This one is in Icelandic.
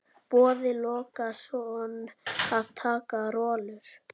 Boði Logason: Að taka rollur?